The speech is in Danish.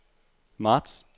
marts